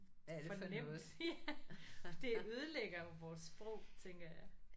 Det for nemt. Det ødelægger jo vores sprog tænker jeg